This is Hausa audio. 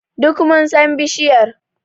Duk mun san bishiyar.